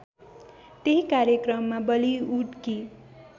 त्यही कार्यक्रममा बलिउडकी